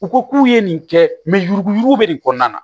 U ko k'u ye nin kɛ yuruguyurugu bɛ nin kɔnɔna na